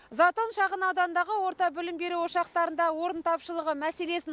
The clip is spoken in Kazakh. затон шағын ауданындағы орта білім беру ошақтарында орын тапшылығы мәселесін